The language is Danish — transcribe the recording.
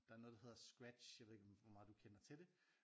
Der er noget der hedder Scratch jeg ved ikke hvor meget du kender til det